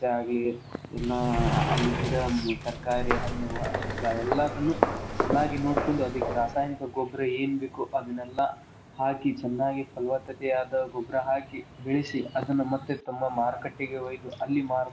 ಆಗ್ಲಿ ಇಲ್ಲಾ ಅಲ್ಲಿ ಗಿಡ ತರಕಾರಿ, ಹಣ್ಣು ಹಂಪಲಾ ಎಲ್ಲಾದನ್ನು ಚನ್ನಾಗಿ ನೋಡಕೊಂಡು ಅದಕ್ಕ್ ರಾಸಾಯನಿಕ ಗೊಬ್ಬರಾ ಏನು ಬೇಕು ಅದ್ನೇಲ್ಲಾ ಹಾಕಿ ಚನ್ನಾಗಿ ಫಲವತ್ತತೆ ಆದ ಗೊಬ್ಬರಾ ಹಾಕಿ ಬೆಳಿಸಿ ಅದನ್ನ ಮತ್ತೆ ತಮ್ಮ ಮಾರುಕಟ್ಟೆಗೆ ಒಯ್ದು ಅಲ್ಲಿ ಮಾರಿದಾಗ.